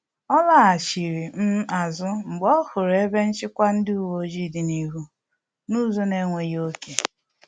Ọ laghachiri um azụ mgbe ọ hụrụ ebe nchịkwa ndị uweojii dị n’ihu n’ụzọ na-enweghị ọke